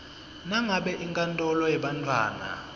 nangabe inkantolo yebantfwana